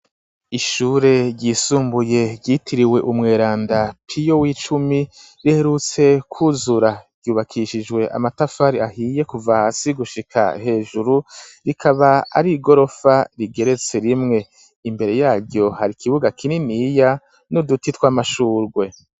Ishure ryisumbuye ryitiriwe umweranda pio w'icumi riherutse kuzura ryubakishijwe amatafari ahiye kuva hasi gushika hejuru rikaba ari gorofa rigeretse rimwe imbere yaryo hari ikibuga kininiya n'uduti tw'amashurwe.